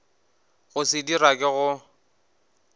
go se dira ke go